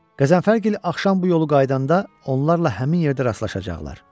Qəzənfərgil axşam bu yolu qayıdanda onlarla həmin yerdə rastlaşacaqlar.